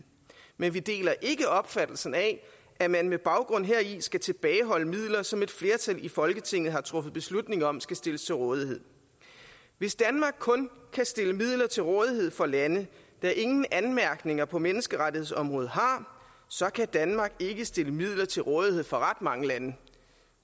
men vi deler ikke opfattelsen af at man med baggrund heri skal tilbageholde midler som et flertal i folketinget har truffet beslutning om skal stilles til rådighed hvis danmark kun kan stille midler til rådighed for lande der ingen anmærkninger har på menneskerettighedsområdet så kan danmark ikke stille midler til rådighed for ret mange lande